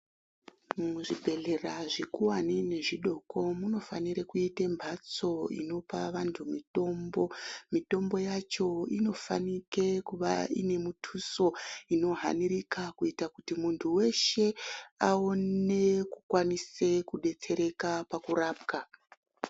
Muzvibhedhlera zvikuwani nezvidoko munofanire kuita mbatso inopa vantu mitombo. Mitombo yacho inofanike kuva ine muthuso inohanirika kuita kuti muntu weshe aone kukwanise kudetsereka pakurapwa.